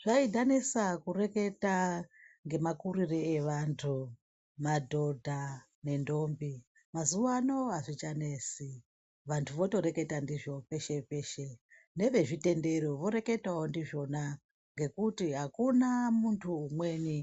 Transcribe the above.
Zvaidhanisa kureketa ngemakurire evantu, madhodha nendombi, mazuvano hazvichanesi. Vantu votoreketa ndizvo peshe peshe. Nevezvitendero voreketawo ndizvona ngekuti hakuna muntu mumweni